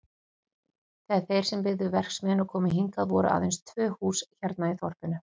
Þegar þeir sem byggðu verksmiðjuna komu hingað voru aðeins tvö hús hérna í þorpinu.